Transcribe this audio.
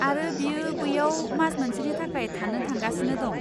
आरो बियो बैयाव मास मोनसेनि थाखाय थानो थांगासिनो दं।